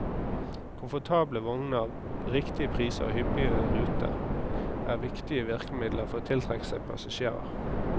Komfortable vogner, riktige priser og hyppige ruter er viktige virkemidler for å tiltrekke seg passasjerer.